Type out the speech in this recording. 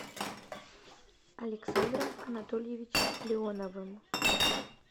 александром анатольевичем леоновым